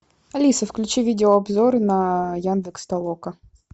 алиса включи видео обзор на яндекс толока